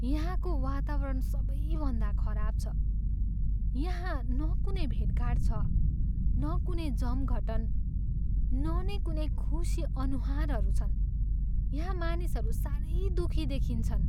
यहाँको वातावरण सबैभन्दा खराब छ, यहाँ न कुनै भेटघाट छ, न कुनै जमघटन न नैँ कुनै खुसी अनुहारूहरू छन्। यहाँ मानिसहरू साह्रै दुखी देखिन्छन्।